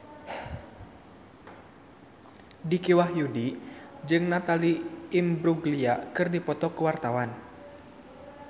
Dicky Wahyudi jeung Natalie Imbruglia keur dipoto ku wartawan